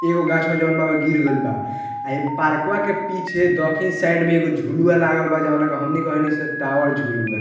एगो गाछ होअ जॉन गिर गईल बा इ पार्कवा के पीछे दखिन साइड में एगो झुलवा लागल बा जॉन बा के हमनी के ओहनी से टावर झुलवा।